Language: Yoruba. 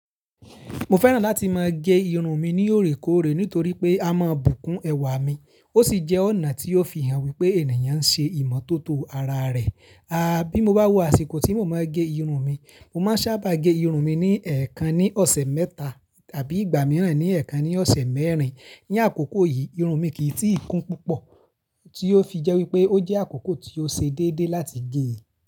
Mo fẹ́ràn láti máa gé irun mi ní òrékóòré nítorí pé a mọ bùkún ẹwà mi, ó sì jẹ́ ọ̀nà tí o fi hàn wípé ènìyàn ń ṣe ìmọ́tótó ara rẹ̀. A, bí mo bá wo àsìkò tí mo mọ gé irun mi, mo máa sábà gé irun mi ní ẹ̀ẹ̀kan ní ọ̀sẹ̀ mẹ́ta tàbí ìgbà mìíràn ní ẹ̀ẹ̀kan ní ọ̀sẹ̀ mẹ́rin. Ní àkókò yìí, irun mi kì í tí ì kún púpọ̀, tí ó fi jẹ́ wípé ó jẹ́ àkókò tí ó ṣe déédéé láti gé.